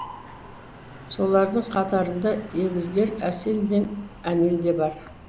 солардың қатарында егіздер әсел мен әнел де бар